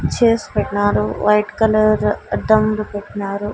Chairs పెట్నారు white colour అద్దంలు పెట్నారు.